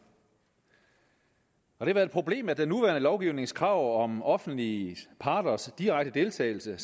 det har været et problem at den nuværende lovgivnings krav om offentlige parters direkte deltagelse